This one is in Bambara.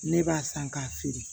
Ne b'a san k'a feere